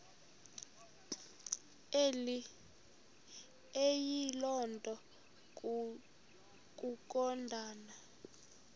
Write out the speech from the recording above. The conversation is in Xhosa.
eyiloo nto kukodana